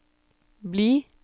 bli